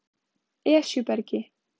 Esjubergi